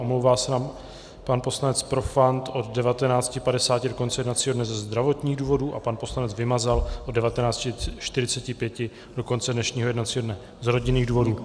Omlouvá se nám pan poslanec Profant od 19.50 do konce jednacího dne ze zdravotních důvodů a pan poslanec Vymazal od 19.45 do konce dnešního jednacího dne z rodinných důvodů.